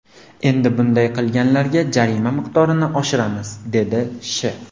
Endi bunday qilganlarga jarima miqdorini oshiramiz”, dedi Sh.